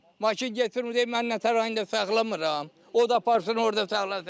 Maşın gətirir, deyir mən nə tər rayonunda saxlamıram, o da aparsın orda saxlasın.